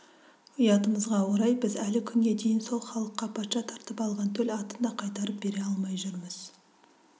ұятымызға орай біз әлі күнге дейін сол халыққа патша тартып алған төл атын да қайтарып бере алмай жүрміз